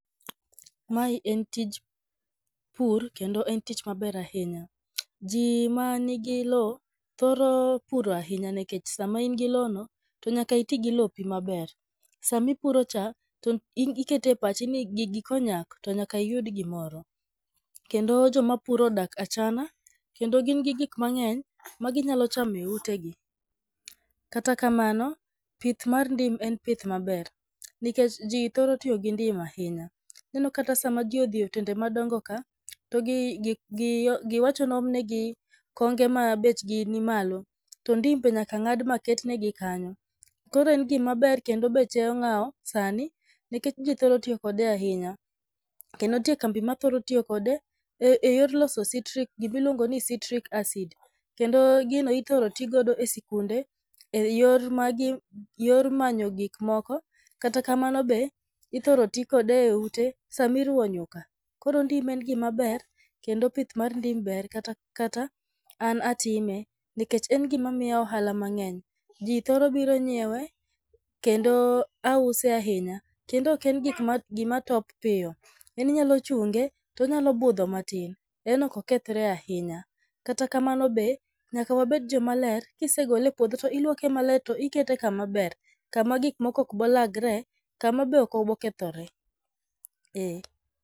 Mae en tij pur kendo en tich maber ahinya. Jii ma nigi lowo thoro puro ahinya nikech sama in gi lowo no to nyaki tii gi lopi maber. Sami puro cha ikete pachi ni gigi konyak to nyaki yud gimoro kendo joma puro odak achana kendo gin gi gik mang'eny ma ginyalo chame ute gi. Kata kamano, pith mar ndim en pith maber nikech jii thoro tiyo gi ndim ahinya. Ineno kata sa ma jii odhi otende madongo ka to gi gi giwacho ni oom negi konge ma bechgi nimalo to ndim be nyaka ng'ad ma ket negi kanyo. Koro en gima ber kendo beche ong'awo sani nikech jii thoro tiyo kode ahinya. Kendo ntie kambi ma thoro tiyo kode e yor loso citric gimiluongo ni citric acid .Kendo gino ithor tii godo e sikunde e yor manyo gik moko. Kata kamano be ithrooo ti kode e ute sami ruwo nyuka koro ndim en gima ber kendo pith mar ndim ber kata an atime nikech en gima miya ohala mang'eny. Jii thoro biro nyiewe kendo ause ahinya kendo ok en gik ma gima top piyo en inyalo chunge tonyalo budho matin en ok okethre ahinya. Kata kamano be nyaka wabed joma ler kisegole e puodho to iluoke maler to ikete kama ber kama gik moko ok bo lagre kama be ok obo kethre.